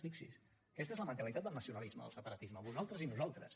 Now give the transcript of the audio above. fixi’s aquesta és la mentalitat del nacionalisme del separatisme nosaltres i vosaltres